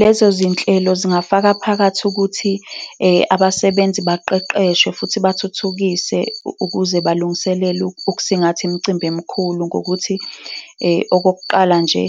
Lezo zinhlelo zingafaka phakathi ukuthi abasebenzi baqeqeshwe futhi bathuthukise ukuze balungiselele ukusingatha imicimbi emikhulu ngokuthi, okokuqala nje,